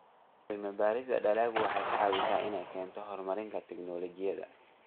Cilmi-baarista dalaggu waxay ka caawisaa inay keento horumarka tignoolajiyada.